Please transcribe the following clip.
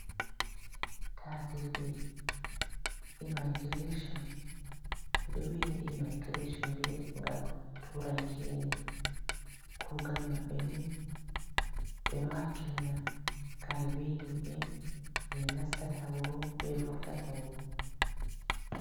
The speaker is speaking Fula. Ta dirɓe ɓe ɗo wi’a ɓe immigration, ɓeɗo wi'a be imagination be ɗemgal turankere, kugal maɓɓe ni ɓe ɗo hakkilina kare, be himɓɓe je nastata wuro, be vurtata. wuro